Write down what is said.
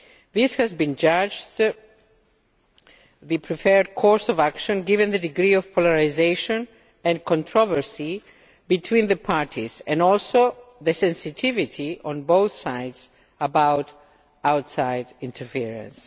This has been judged the preferred course of action, given the degree of polarisation and controversy between the parties and also the sensitivity on both sides about outside interference.